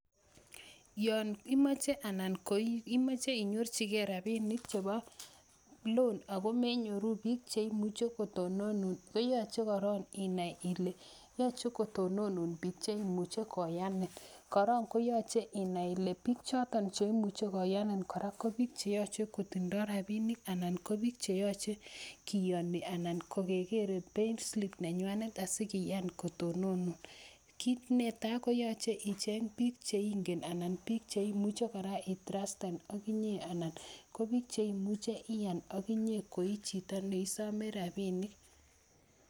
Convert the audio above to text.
Yon imache anan koimache inyorchige rapinik chebo loan ago menyoru biik che imuchi kotononun, koyache korok inai ile yache kotononun biik che imuchi koyanin. Koron koyache inai ile biik choton che imuchi koyani kora ko biik che yoche kotindo rapinik anan ko biik cheyoche kiayani anan ko kegere payslip nenywanet asigiyan kotononun. Kit ne tai, koyache icheng biik che ingen anan biil che imuchi kora itrasten ak inye anan ko biik che imuchi iyan ak inye koi chito ne isome rapinik.